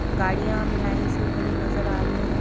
गाड़ियां हमें लाइन से खड़ी नजर आ रही हैं।